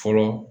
Fɔlɔ